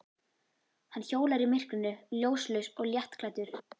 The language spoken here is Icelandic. Hann hjólar í myrkrinu, ljóslaus og léttklæddur.